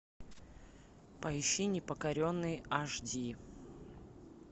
поищи непокоренные аш ди